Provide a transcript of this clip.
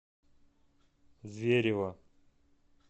зверево